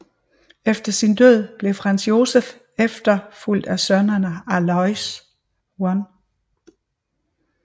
Efter sin død blev Franz Josef efterfulgt af sønnerne Aloys 1